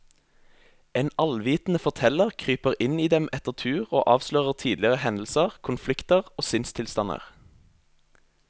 En allvitende forteller kryper inn i dem etter tur og avslører tidligere hendelser, konflikter og sinnstilstander.